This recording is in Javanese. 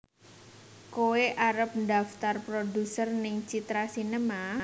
Koe arep ndaftar produser ning Citra Sinema?